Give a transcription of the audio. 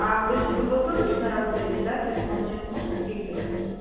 а вы же круглосуточно работаете да то есть к вам сейчас можно приехать